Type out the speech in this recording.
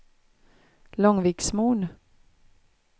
Långviksmon